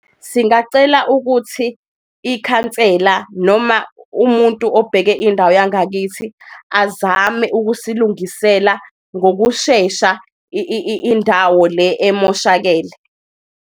Singacela ukuthi ikhansela noma umuntu obheke indawo yangakithi azame ukusilungisela ngokushesha indawo le emoshakele.